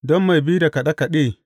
Don mai bi da kaɗe kaɗe.